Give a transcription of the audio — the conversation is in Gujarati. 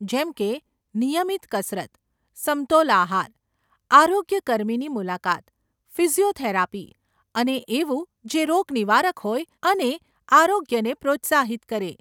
જેમકે નિયમિત કસરત, સમતોલ આહાર, આરોગ્ય કર્મીની મુલાકાત, ફિઝીયોથેરાપી અને એવું જે રોગ નિવારક હોય અને આરોગ્યને પ્રોત્સાહિત કરે.